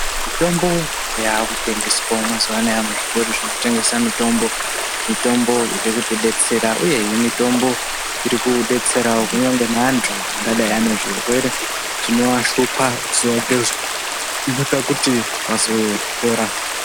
Mitombo yavaku tengeswawo mazuva anaya mu zvitoro zvino tengesa mitombo mitombo iri kuti detsera uyehe mitombo iri kudetserawo kunyangwe ne antu angadai ane zvirwere zvinova shupa zuva nge zuva uno ita kuti vazo pora.